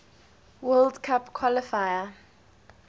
world cup qualifier